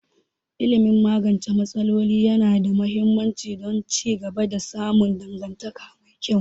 Ilimin magance matsaloli yana da muhimmanci don ci gaba da samun dangantaka mai kyau